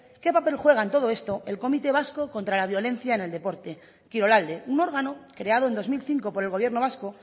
qué papel juega en todo esto el comité vasco contra la violencia en el deporte kirolalde un órgano creado en dos mil cinco por el gobierno vasco